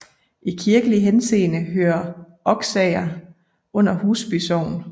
I kirkelig henseende hører Oksager under Husby Sogn